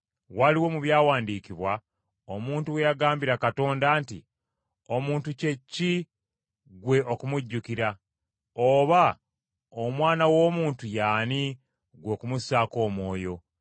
Waliwo mu byawandiikibwa, omuntu we yagambira Katonda nti, “Omuntu kye ki ggwe okumujjukira? Oba Omwana w’Omuntu ye ani ggwe okumussaako omwoyo?